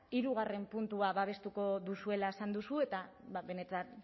hirugarrena puntua babestuko duzuela esan duzu eta benetan